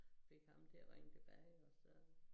Fik ham til at ringe tilbage og så